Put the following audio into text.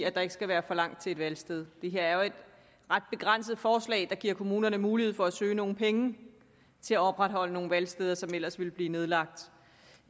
at der ikke skal være for langt til et valgsted det her er jo et ret begrænset forslag der giver kommunerne mulighed for at søge nogle penge til at opretholde nogle valgsteder som ellers ville blive nedlagt